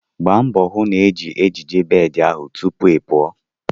Gba mbo hu na ị na-eji ejiji bed ahụ tupu ị pụọ!